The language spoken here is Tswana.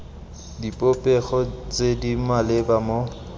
dipopego tse di maleba mo